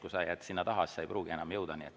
Kui sa jääd sinna taha, siis sa ei pruugi enam jõuda.